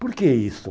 Por que isso?